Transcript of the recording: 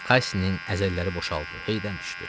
Qassinin əzələləri boşaldı, heydən düşdü.